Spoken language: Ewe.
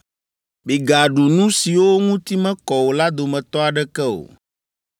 “Migaɖu nu siwo ŋuti mekɔ o la dometɔ aɖeke o.